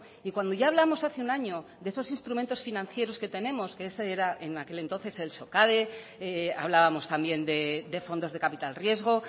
y cuando ya hablamos hace un año de esos instrumentos financieros que tenemos que ese era en aquel entonces el socade hablábamos también de fondos de capital riesgo